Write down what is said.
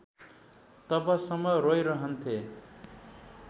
तबसम्म रोइरहन्थेँ